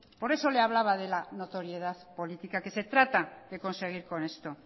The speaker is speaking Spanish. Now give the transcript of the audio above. por eso le hablaba de la notoriedad política que se trata de conseguir con esto